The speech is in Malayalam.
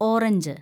ഓറഞ്ച്